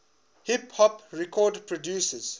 hip hop record producers